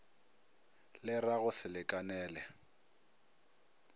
le ra go se lekanele